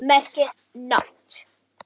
merkir NOT.